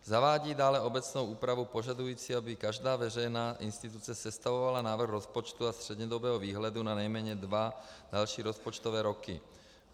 Zavádí dále obecnou úpravu požadující, aby každá veřejná instituce sestavovala návrh rozpočtu a střednědobého výhledu na nejméně dva další rozpočtové roky.